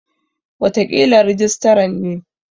Wataƙila rijistaran ne.